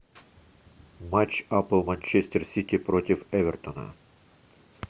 матч апл манчестер сити против эвертона